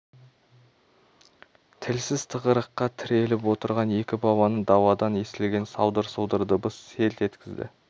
тілсіз тығырыққа тіреліп отырған екі баланы даладан естілген салдыр-сұлдыр дыбыс селт еткізді